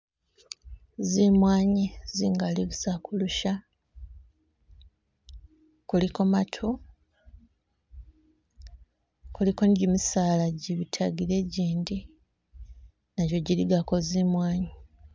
Zimwanyi zingali busa kulusya kuliko matu kuliko ne jimisala ijibitakile ijindi najo jiligako zimwanyi.